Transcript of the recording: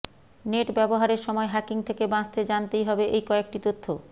net ব্যবহারের সময় hacking থেকে বাঁচতে জানতেই হবে এই কয়েকটি তথ্য